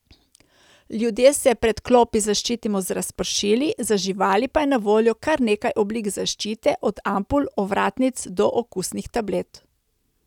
Ljudje se pred klopi zaščitimo z razpršili, za živali pa je na voljo kar nekaj oblik zaščite, od ampul, ovratnic, do okusnih tablet.